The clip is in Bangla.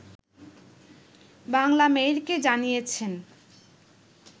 বাংলামেইলকে জানিয়েছেন